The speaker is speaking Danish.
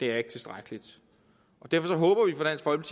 er tilstrækkeligt derfor håber